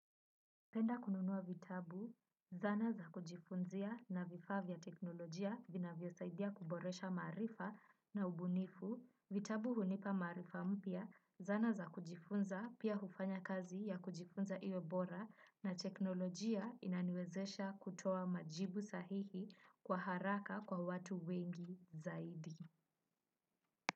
Napenda kununuwa vitabu, zana za kujifunzia na vifaa vya teknolojia vinavyo saidia kuboresha maarifa na ubunifu. Vitabu hunipa maarifa mpya, zana za kujifunza, pia hufanya kazi ya kujifunza iwe bora na teknolojia inaniwezesha kutoa majibu sahihi kwa haraka kwa watu wengi zaidi.